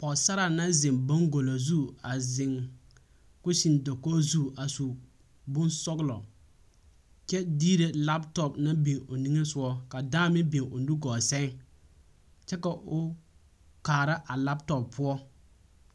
Pͻgesaraa naŋ zeŋe baŋgolo zu, a zeŋ koseŋ dakogi zu a su bonsͻgelͻ kyԑ diire laapotͻpo naŋ biŋ o niŋe sogͻ, ka dãã meŋ o nugͻͻ sԑŋ kyԑ ka o kaara a laapotͻpo poͻ.